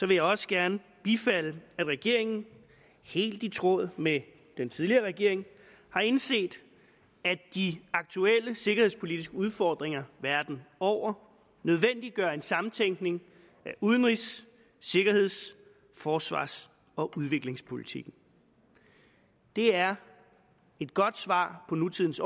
jeg også gerne bifalde at regeringen helt i tråd med den tidligere regering har indset at de aktuelle sikkerhedspolitiske udfordringer verden over nødvendiggør en samtænkning af udenrigs sikkerheds forsvars og udviklingspolitikken det er et godt svar på nutidens